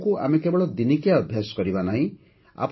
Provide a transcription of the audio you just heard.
ଯୋଗକୁ ଆମେ କେବଳ ଦିନିକିଆ ଅଭ୍ୟାସ କରିବା ନାହିଁ